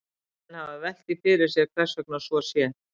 Menn hafa velt því fyrir sér hvers vegna svo sé.